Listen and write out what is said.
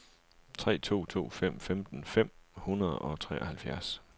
tre to to fem femten fem hundrede og treoghalvfjerds